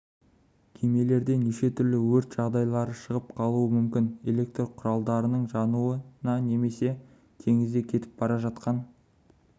кемелерде неше түрлі өрт жағдайлары шығып қалуы мүмкін электр құралдарының жануына немесе теңізде кетіп бара жатқан